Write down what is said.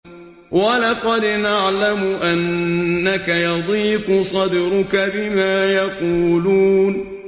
وَلَقَدْ نَعْلَمُ أَنَّكَ يَضِيقُ صَدْرُكَ بِمَا يَقُولُونَ